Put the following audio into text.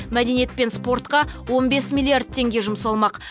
мәдениет пен спортқа он бес миллиард теңге жұмсалмақ